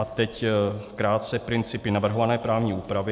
A teď krátce principy navrhované právní úpravy.